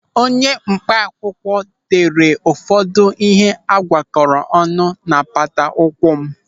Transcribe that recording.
Onye mkpa akwụkwọ tere m ụfọdụ ihe a gwakọrọ ọnụ n'apata ụkwụ m.